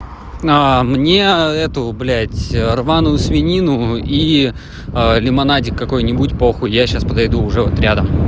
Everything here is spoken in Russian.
а мне эту блядь рваную свинину и лимонадик какой-нибудь похуй я сейчас подойду уже вот рядом